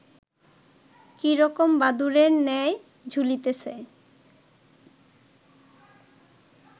কী রকম বাদুড়ের ন্যায় ঝুলিতেছে